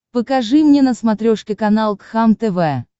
покажи мне на смотрешке канал кхлм тв